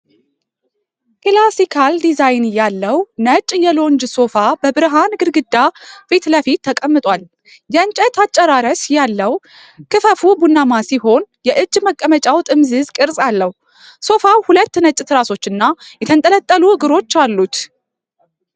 ክላሲካል ዲዛይን ያለው ነጭ የሎንጅ ሶፋ በብርሃን ግድግዳ ፊት ለፊት ተቀምጧል። የእንጨት አጨራረስ ያለው ክፈፉ ቡናማ ሲሆን፣ የእጅ መቀመጫው ጥምዝ ቅርጽ አለው። ሶፋው ሁለት ነጭ ትራሶችና የተንጠለጠሉ እግሮች አሉት።